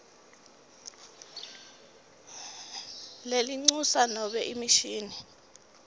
lelincusa nobe emishini